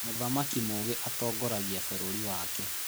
Mũthamaki mũũgĩ atongoragia bũrũri wake.